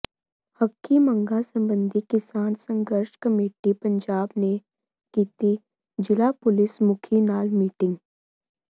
ਹੱਕੀ ਮੰਗਾਂ ਸਬੰਧੀ ਕਿਸਾਨ ਸੰਘਰਸ਼ ਕਮੇਟੀ ਪੰਜਾਬ ਨੇ ਕੀਤੀ ਜ਼ਿਲ੍ਹਾ ਪੁਲਿਸ ਮੁਖੀ ਨਾਲ ਮੀਟਿੰਗ